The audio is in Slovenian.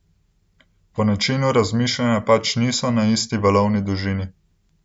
Po načinu razmišljanja pač niso na isti valovni dolžini.